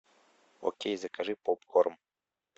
окей закажи попкорн